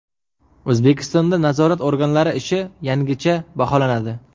O‘zbekistonda nazorat organlari ishi yangicha baholanadi.